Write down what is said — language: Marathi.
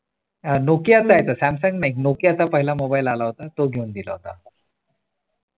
अह नोकियाचा आहे तो सॅमसंग नाही नोकियाचा पहिला मोबाईल आला होता तो घेऊन दिला होता.